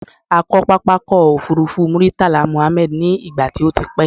A kọ́ pápá ọkọ̀ òfurufú Muritala Mohammed ní ìgbà tí o ti pẹ́